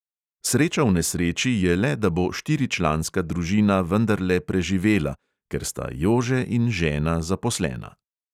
Sreča v nesreči je le, da bo štiričlanska družina vendarle preživela – ker sta jože in žena zaposlena.